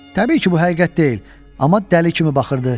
Təbii ki, bu həqiqət deyil, amma dəli kimi baxırdı.